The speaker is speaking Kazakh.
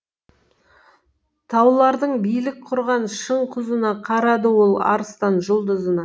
таулардың билік құрған шың құзына қарады ол арыстан жұлдызына